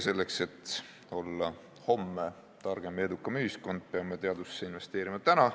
Selleks, et olla homme targem ja edukam ühiskond, peame teadusesse investeerima täna.